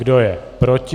Kdo je proti?